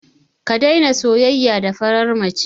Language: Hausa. Ka daina soyayya da farar mace.